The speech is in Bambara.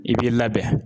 I b'i labɛn